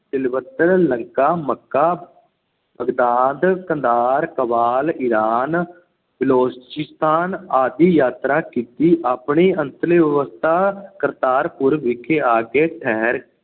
Tibet, Lanka, Mecca, Baghdad, Kandahar, Kabul, Iran, Balochistan ਆਦਿ ਦੀ ਯਾਤਰਾ ਕੀਤੀ। ਆਪਣੀ ਅੰਤਲੀ ਅਵਸਥਾ ਕਰਤਾਰਪੁਰ ਵਿਖੇ ਆ ਕੇ ਠਹਿਰ